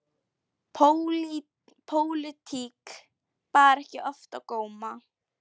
Pólitík bar ekki oft á góma.